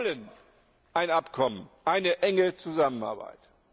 Wir wollen ein Abkommen, eine enge Zusammenarbeit.